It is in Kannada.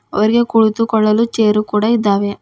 ಅವರಿಗೆ ಕುಳಿತುಕೊಳ್ಳಲು ಚೇರು ಕೂಡ ಇದ್ದಾವೆ.